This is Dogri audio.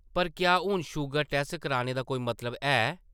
पर क्या हून शूगर टैस्ट कराने दा कोई मतलब है ?